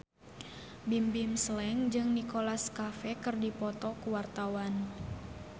Bimbim Slank jeung Nicholas Cafe keur dipoto ku wartawan